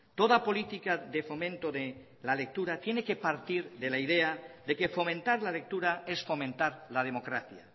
toda política de fomento de la lectura tiene que partir de la idea de que fomentar la lectura es fomentar la democracia